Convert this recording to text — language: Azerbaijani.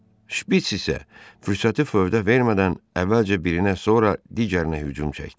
Şpiç isə fürsəti fövdə vermədən əvvəlcə birinə, sonra digərinə hücum çəkdi.